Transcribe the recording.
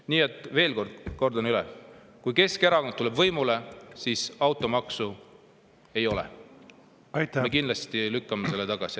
Nii et kordan üle: kui Keskerakond tuleb võimule, siis automaksu ei ole, me kindlasti selle tagasi.